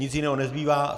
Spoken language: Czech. Nic jiného nezbývá.